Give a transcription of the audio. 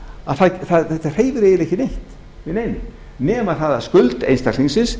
að þetta hreyfir eiginlega ekki neitt við neinu nema skuld einstaklingsins